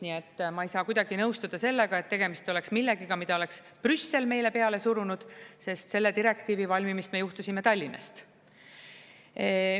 Nii et ma ei saa kuidagi nõustuda sellega, et tegemist oleks millegagi, mida oleks Brüssel meile peale surunud, sest selle direktiivi valmimist me juhtisime Tallinnast.